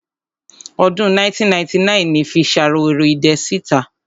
Ọdún 1999 ni fi Ṣaworoidẹ sí ìta.